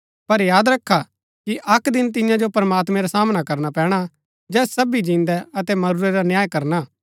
पर याद रखा कि अक्क दिन तिन्या जो प्रमात्मैं रा सामना करना पैणा जैस सबी जिन्दै अतै मरूरा रा न्याय करना हा